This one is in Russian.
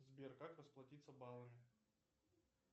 сбер как расплатиться баллами